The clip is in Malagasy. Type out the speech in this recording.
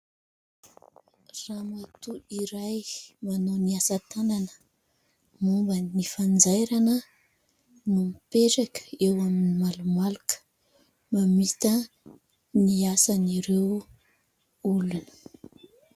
Ramatoa iray manao ny asa tanana momban'ny fanjairana no mipetraka eo amin'ny malomaloka mamita ny asan' ireo olona.